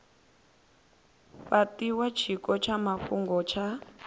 fhatiwa tshiko tsha mafhungo tsha